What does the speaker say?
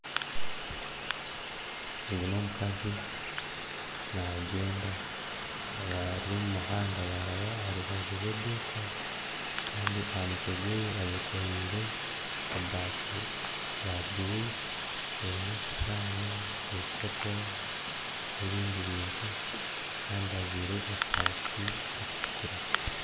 Ogu n'omukazi nagyenda ari omumuhada yaraba aharubaju rw'eduuka Kandi ahamutwe gwe ayekorire ebafu ya blue erumu esihani, ebikopo n'ebindi bintu Kandi ajwire esati erukutukura.